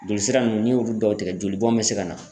Jolisira nunnu n'i y'olu dɔw tigɛ joli bɔn be se ka na